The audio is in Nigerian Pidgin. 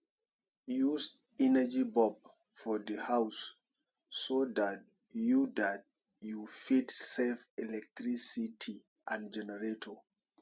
use energy bulb for di house so dat you dat you fit save electricity and generator